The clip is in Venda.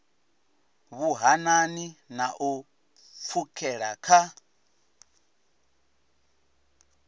vhuhanani na u pfukhela kha